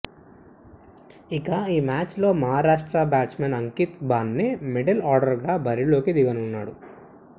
ఇక ఈ మ్యాచ్లో మహారాష్ట్ర బ్యాట్స్మెన్ అంకిత బాన్నే మిడిల్ ఆర్డర్గా బరిలోకి దిగనున్నాడు